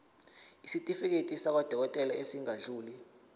isitifiketi sakwadokodela esingadluli